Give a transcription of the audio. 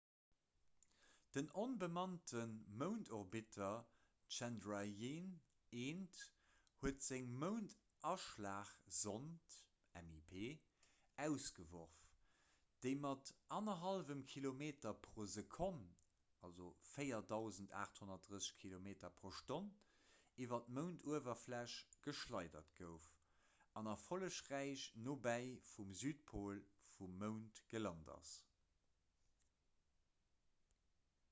den onbemannte moundorbiter chandrayaan-1 huet seng moundaschlagsond mip ausgeworf déi mat 1,5 kilometer pro sekonn 4 830 km/h iwwer d'mounduwerfläch geschleidert gouf an erfollegräich nobäi vum südpol vum mound gelant ass